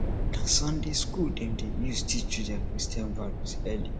na sunday school dem dey use teach children christian values early